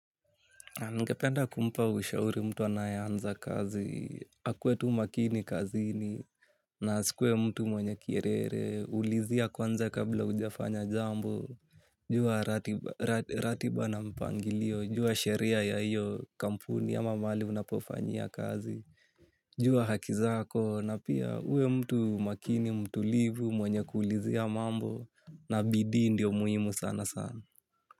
Ningependa kumpa ushauri mtu anayeanza kazi, akue tu makini kazini, na asikuwe mtu mwenye kiherehere, ulizia kwanza kabla hujafanya jambo, jua ratiba na mpangilio, jua sheria ya hiyo kampuni ama mahali unapofanyia kazi, jua haki zako, na pia uwe mtu makini mtulivu mwenye kuulizia mambo, na bidii ndio muhimu sana sana.